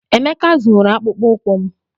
Emeka zụrụ akpụkpọ ụkwụ m.